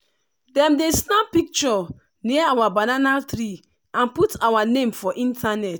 dem dey snap picture near our banana tree and put our name for internet.